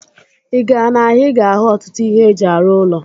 Ị gaa n'ahịa, ị ga-ahụ ọtụtụ ihe eji arụ ụlọ.